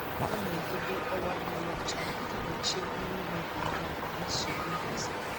Ọ na-edobe ọwa mmiri ọcha iji gbochie mmiri imebi ihe na nsogbu nhazi.